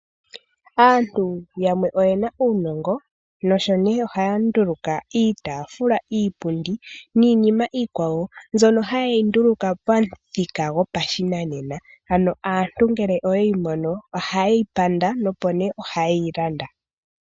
Aantu yamwe oye na uunongo sho osho haya nduluka iipundi, iitaafula niinima iikwawo mbyono haye yi nduluka pamuthika gopashinanena. Ano aantu ngele oye yi mono ohaye yi panda nohaye yi landa.